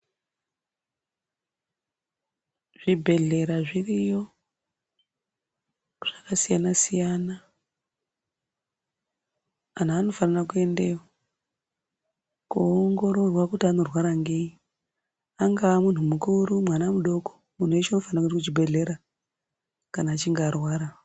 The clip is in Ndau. Zvibhedhlera zviriyo zvakasiyana siyana anhu anofanira kuendayo koongororwa kuti anorwara ngei angaa munhu mukuru mwana mudoko munhu weshe unofana kuenda kuchibhedhlera kana achinga arwara.